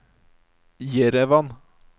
Jerevan